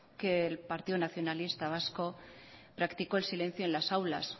que el partido nacionalista vasco practicó el silencio en las aulas